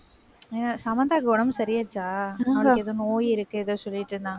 ஏ, சமந்தாவுக்கு உடம்பு சரியாச்சா? அவளுக்கு ஏதோ நோய் இருக்கு, ஏதோ சொல்லிட்டு இருந்தாங்க